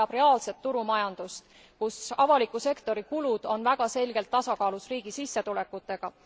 Euroopa vajab täna reaalset turumajandust, kus avaliku sektori kulud on väga selgelt tasakaalus riigi sissetulekutega.